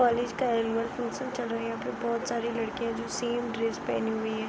college का annual function चल रहा है | यहाँ पे बहुत सारी लड़कियों जो सेम ड्रेस पहने हुई हैं |